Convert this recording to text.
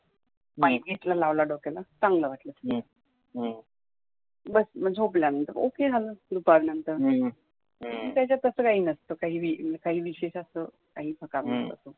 ्माहिती्तलं लावलं डोक्याला चांगलं असतं मग झोप लागलं तर ओके झालं दुपार नंतर त्याच्यात असं काही नसतं काही विशेष असतं काही